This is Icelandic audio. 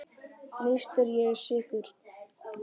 Víst er ég sekur.